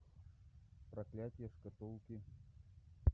проклятие шкатулки